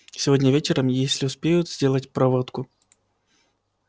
сегодня вечером если успеют сделать проводку